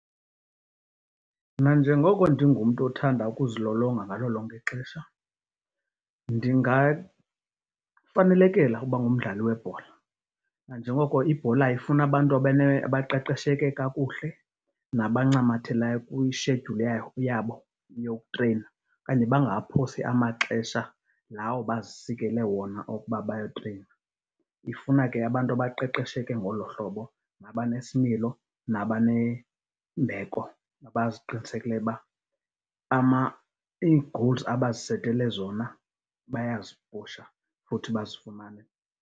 Mna njengoko ndingumntu othanda ukuzilolonga ngalo lonke ixesha, ndingafanelekela uba ngumdlali webhola. Nanjengoko ibhola ifuna abantu abaqeqesheke kakuhle nabancamathelayo kwishedyuli yabo yokutreyina okanye bangaphosi amaxesha lawo bazisikele wona okuba bayotreyina. Ifuna ke abantu abaqeqesheke ngoloo hlobo nabanesimilo, nabanembeko nabaziqinisekileyo uba ii-goals abazisetele zona bayazipusha futhi bazifumane.